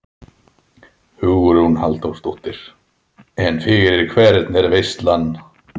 Hugrún Halldórsdóttir: En fyrir hvern er veislan?